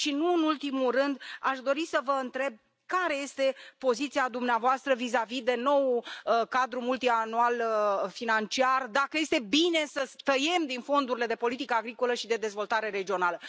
Nu în ultimul rând, aș dori să vă întreb care este poziția dumneavoastră vizavi de noul cadru financiar multianual, dacă este bine să tăiem din fondurile de politică agricolă și de dezvoltare regională.